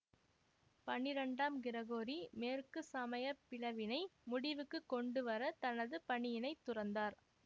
பன்னிரண்டாம் கிரகோரி மேற்கு சமயப்பிளவினை முடிவுக்கு கொண்டு வர தனது பணியினைத் துறந்தார்